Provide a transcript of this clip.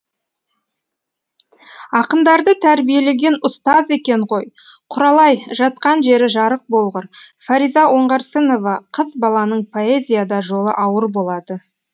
ақындарды тәрбиелеген ұстаз екен ғой құралай жатқан жері жарық болғыр фариза оңғарсынова қыз баланың поэзияда жолы ауыр болады